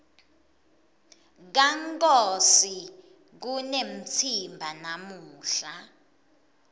kankosi kunemtsimba namuhla